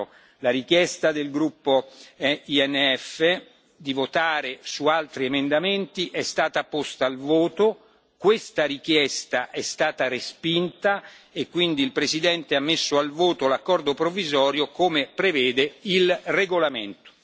4. La richiesta del gruppo ENF di votare su altri emendamenti è stata posta al voto, questa richiesta è stata respinta e quindi il Presidente ha messo al voto l'accordo provvisorio, come prevede il regolamento.